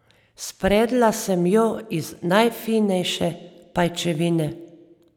Spredla sem jo iz najfinejše pajčevine.